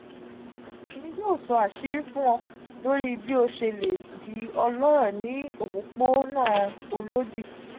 emi yoo so asiri fun o lori bi o sele di oloro ni opopona olodi.